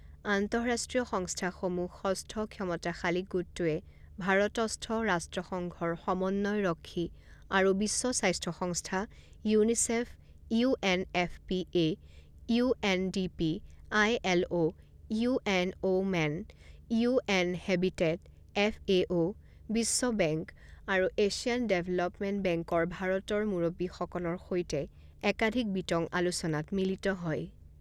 আন্তঃৰাষ্ট্ৰীয় সংস্থাসমূহ ষষ্ঠ ক্ষমতাশালী গোটটোৱে ভাৰতস্থ ৰাষ্ট্ৰসংঘৰ সমন্বয়ৰক্ষী, আৰু বিশ্ব স্বাস্থ্য সংস্থা, UNICEF, UNFPA, UNDP, ILO, U N women, UN habitat, FAO, বিশ্ব বেংক আৰু এছিয়ান ডেভেলপমেণ্ট বেংকৰ ভাৰতৰ মূৰব্বীসকলৰ সৈতে একাধিক বিতং আলোচনাত মিলিত হয়।